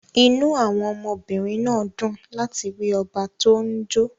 Inú àwọn ọmọbìnrin náà dùn láti rí ọba tó ń jó